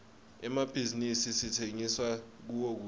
emmabhizinisi sitsenga kuwo kudla